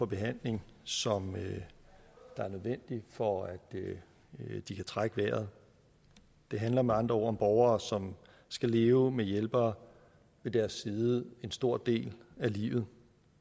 behandling som er nødvendig for at de kan trække vejret det handler med andre ord om borgere som skal leve med hjælpere ved deres side en stor del af livet